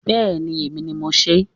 Bẹẹni. Èmi ni mo sè é.